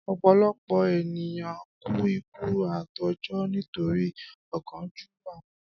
Ọ̀pọ̀lọpọ̀ ènìyàn kú ikú àìtọ́jọ́ nítorí ọ̀kánjúwà won